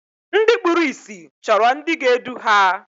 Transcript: Ndị kpụrụ ịsị chọrọ ndị ga-edu ha.